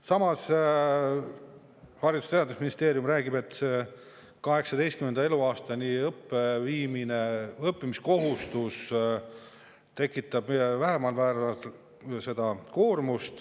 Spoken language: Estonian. Samas, Haridus‑ ja Teadusministeerium räägib, et õppimiskohustuse 18. eluaastani viimine tekitab seda koormust vähesel määral.